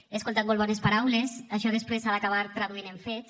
he escoltat molt bones paraules això després s’ha d’acabar traduint en fets